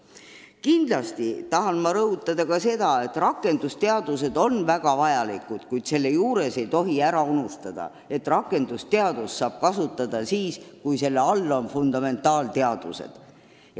Ma tahan kindlasti rõhutada ka seda, et rakendusteadused on väga vajalikud, kuid ei tohi ära unustada, et rakendusteadust saab kasutada siis, kui seda toetavad fundamentaalteadused.